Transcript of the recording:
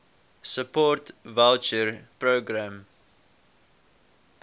support voucher programme